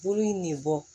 Bolo in ne bɔ